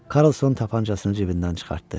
Karlson tapançasını cibindən çıxartdı.